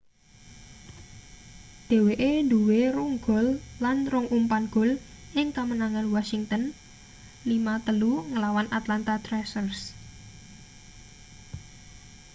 dheweke duwe 2 gol lan 2 umpan gol ing kamenangan washington 5-3 nglawan atlanta thrashers